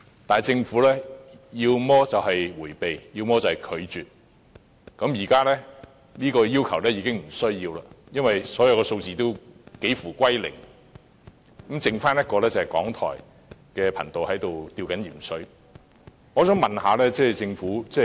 可是，政府要麼是迴避，要麼便是拒絕，現在已沒有需要提出這個要求，因為所有數字都幾乎歸零，剩餘港台的頻道正在"吊鹽水"。